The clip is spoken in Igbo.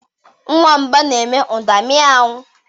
Nwamba na-eme ụda miow.